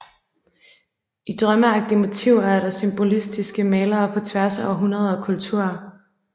I drømmeagtige motiver er der symbolistiske malere på tværs af århundreder og kulturer